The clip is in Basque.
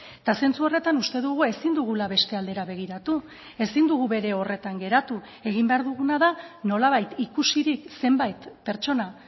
eta zentzu horretan uste dugu ezin dugula beste aldera begiratu ezin dugu bere horretan geratu egin behar duguna da nolabait ikusirik zenbait pertsona